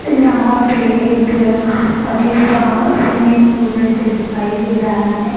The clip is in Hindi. यहाँ पे एक अजीब सा स्विमिंग पुल जैसे दिखाई दे रहा है।